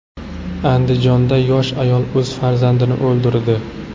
Andijonda yosh ayol o‘z farzandini o‘ldirdi.